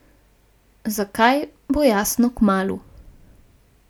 Zakaj, bo jasno kmalu.